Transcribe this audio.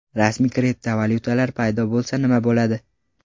Rasmiy kriptovalyutalar paydo bo‘lsa nima bo‘ladi?